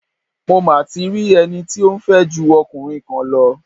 Mo ma ti rí ẹni tí ó ń fẹ́ ju ọkùnrin kan lọ.